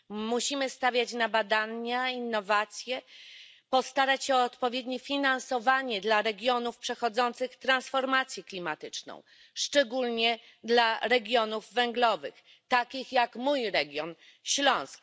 Musimy stawiać na badania i innowacje, starać się o odpowiednie finansowanie dla regionów przechodzących transformację klimatyczną, szczególnie dla regionów węglowych, takich jak mój region Śląsk.